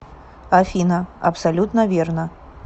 афина абсолютно верно